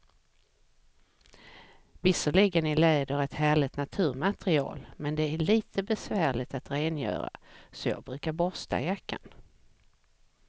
Visserligen är läder ett härligt naturmaterial, men det är lite besvärligt att rengöra, så jag brukar borsta jackan.